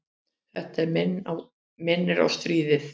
Þetta minnir á stríðið.